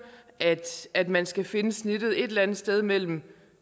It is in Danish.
altså at man skal finde snittet et eller andet sted mellem